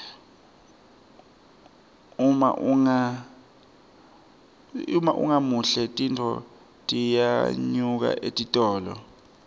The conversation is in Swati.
uma ungemuhle tintfo tiyanyuka etitolo